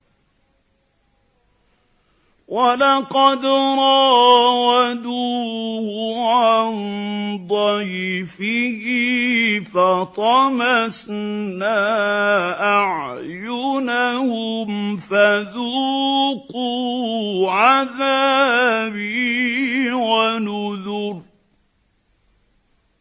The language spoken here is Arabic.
وَلَقَدْ رَاوَدُوهُ عَن ضَيْفِهِ فَطَمَسْنَا أَعْيُنَهُمْ فَذُوقُوا عَذَابِي وَنُذُرِ